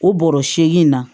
O bɔrɔ seegin na